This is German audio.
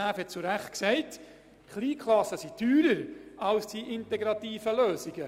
es wurde zu Recht gesagt, dass KbF teurer sind als die integrativen Lösungen.